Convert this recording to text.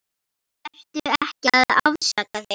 Vertu ekki að afsaka þig.